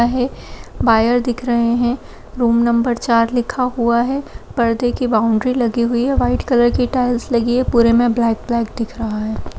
अहे बायर दिख रहे हैं। रूम नंबर चार लिखा हुआ है। पर्दे की बॉउन्ड्री लगी हुई है। व्हाइट कलर की टाइल्स लगी हैं। पुरे में ब्लैक ब्लैक दिख रहा है।